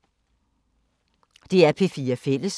DR P4 Fælles